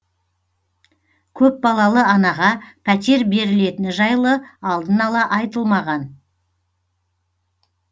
көпбалалы анаға пәтер берілетіні жайлы алдын ала айтылмаған